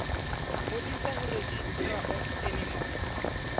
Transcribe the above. ngodisa ho registrar of animal